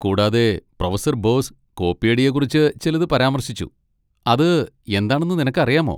കൂടാതെ, പ്രൊഫസർ ബോസ് കോപ്പിയടിയെക്കുറിച്ച് ചിലത് പരാമർശിച്ചു, അത് എന്താണെന്ന് നിനക്കറിയാമോ?